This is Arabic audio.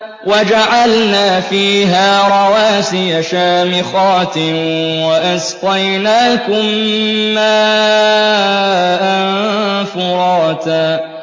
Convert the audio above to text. وَجَعَلْنَا فِيهَا رَوَاسِيَ شَامِخَاتٍ وَأَسْقَيْنَاكُم مَّاءً فُرَاتًا